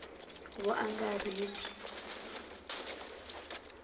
vuangarheli